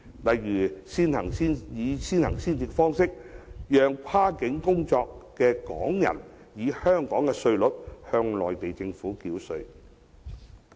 例如，以先行先試方式，讓跨境工作的港人以香港稅率向內地政府繳稅。